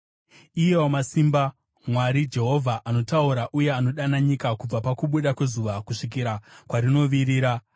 Iye Wamasimba, Mwari, Jehovha, anotaura uye anodana nyika kubva pakubuda kwezuva kusvikira kwarinovirira.